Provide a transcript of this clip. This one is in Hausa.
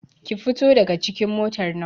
Ki fito daga cikin motar nan!